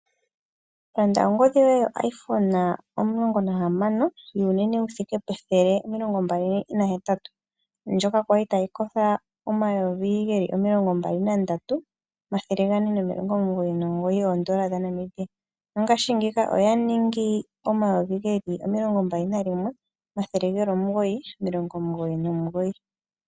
Landa ongodhi yoye oiPhone omulongo nahamano wuunene wuthike pethele omilongo mbali nahetatu, ndjoka yali tayi kosho omayovi geli omilongo mbali nandatu, omathele gane nomilongo omugoyi nomugoyi, oondola dhaNamibia ongashi ngiika oya ningi omayovi geli omilongo mbali nayimwe omathele geli omugoyi, omilongo omugoyi nomugoyi.